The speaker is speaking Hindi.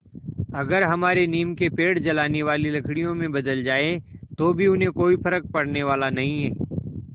अगर हमारे नीम के पेड़ जलाने वाली लकड़ियों में बदल जाएँ तो भी उन्हें कोई फ़र्क पड़ने वाला नहीं